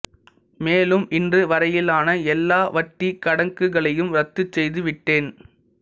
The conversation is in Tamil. மேலும் இன்று வரையிலான எல்லா வட்டிக் கணக்குகளையும் ரத்துச் செய்து விட்டேன்